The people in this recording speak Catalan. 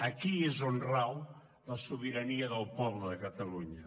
aquí és on rau la sobirania del poble de catalunya